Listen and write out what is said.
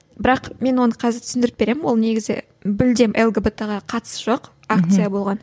бірақ мен оны қазір түсіндіріп беремін ол негізі мүлдем лгбт ге қатысы жоқ акция болған